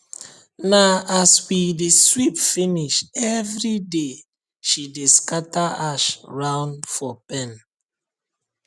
na as we dey sweep finish everyday she dey scatter ash round for pen